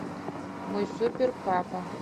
мой супер папа